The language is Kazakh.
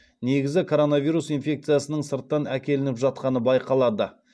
негізі коронавирус инфекциясының сырттан әкелініп жатқаны байқалады